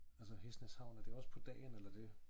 Altså Hesnæs havn er det også på dagen eller det?